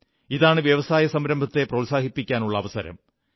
ഇതാണ് വ്യവസായസംരംഭത്തെ പ്രോത്സാഹിപ്പിക്കാനുള്ള അവസരം